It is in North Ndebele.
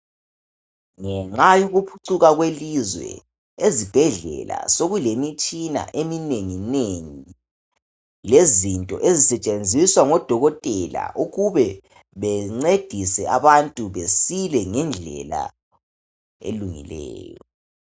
Ngenxa yokuphucuka kwelizwe ezibhedlela sokulemitshina eminengi nengi lezinto ezisetshenziswa ngodokotela ukube bencedise abantu besile ngendlela elungileyo.